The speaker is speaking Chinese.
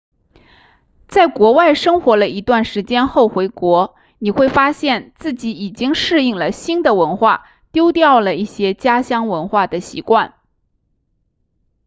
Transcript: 在国外生活了一段时间后回国你会发现自己已经适应了新的文化丢掉了一些家乡文化的习惯